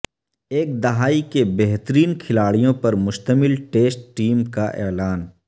ایک دہائی کے بہترین کھلاڑیوں پر مشتمل ٹیسٹ ٹیم کا اعلان